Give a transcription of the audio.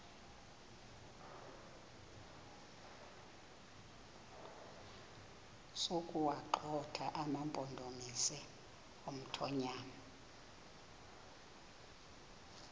sokuwagxotha amampondomise omthonvama